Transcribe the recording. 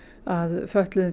að fötluðum